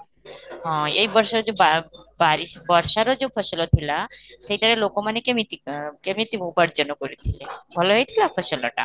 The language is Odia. ହଁ, ଏଇ ବର୍ଷରେ ଯାଉ ବା :lang ବର୍ଷାର ଯାଉ ଫସଲ ଥିଲା ସେଇଟାରେ ଲୋକମାନେ କେମିତି ଅଁ କେମିତି ଉପାର୍ଜନ କରିଥିଲେ, ଭଲ ହେଇଥିଲା ଫସଲଟା?